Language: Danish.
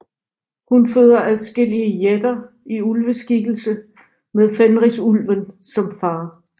Hun føder adskillige jætter i ulveskikkelse med Fenrisulven som far